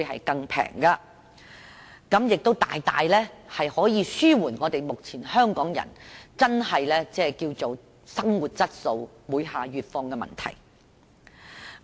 我相信可以大大紓緩目前香港人生活質素每況愈下的問題。